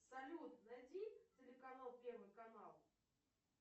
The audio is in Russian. салют найди телеканал первый канал